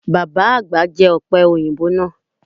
Baba agba jẹ ope oyinbo naa